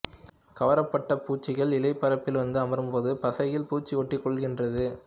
கவரப்பட்ட பூச்சிகள் இலைப் பரப்பில் வந்து அமரும்போது பசையில் பூச்சி ஒட்டிக் கொள்கிறது